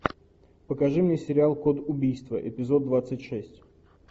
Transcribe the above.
покажи мне сериал код убийства эпизод двадцать шесть